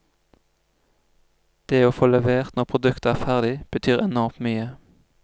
Det å få levert når produktet er ferdig, betyr enormt mye.